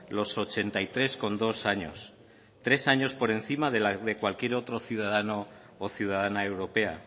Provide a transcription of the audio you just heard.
los ochenta y tres coma dos años tres años por encima de cualquier otro ciudadano o ciudadana europea